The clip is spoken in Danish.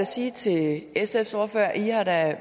sige til sfs ordfører at